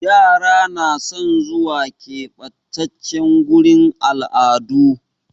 Yara na son zuwa ƙebatace gurin al'adu